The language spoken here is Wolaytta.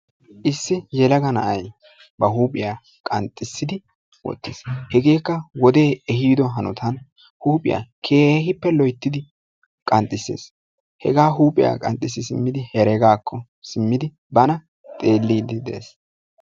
Issi yelaga na"ayi ba huuphiya qanxxissidi wottis. Hegeekka wodee ehiido hanotan huuphiya keehippe loyttidi qanxcissis hegaa huuphiya qanxxissi simmidi heregaakko simmidi bana xeelliidi de"es.